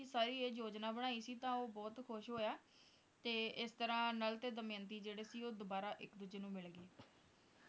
ਸਾਰੀ ਇਹ ਯੋਜਨਾ ਬਣਾਈ ਸੀ ਤਾਂ ਉਹ ਬਹੁਤ ਖੁਸ਼ ਹੋਇਆ ਤੇ ਇਸ ਤਰਾਂ ਨਲ ਤੇ ਦਮਯੰਤੀ ਦੇ ਜਿਹੜੇ ਸੀ ਉਹ ਦੁਬਾਰਾ ਇੱਕ ਦੂਜੇ ਨੂੰ ਮਿਲ ਗਏ